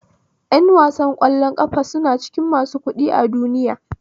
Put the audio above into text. Yan wasan kwallon ƙafa suna cikin masu kuɗi a duniya